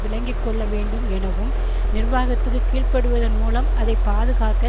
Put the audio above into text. விளங்கி கொள்ள வேண்டும் எனவும் நிர்வாகத்துக்கு கீழ்ப்படிவதன் மூலம் அதை பாதுகாக்க